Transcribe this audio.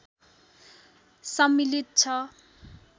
सम्मिलित छ